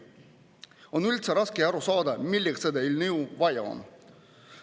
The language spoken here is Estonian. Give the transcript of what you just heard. On üldse raske aru saada, milleks seda eelnõu vaja on.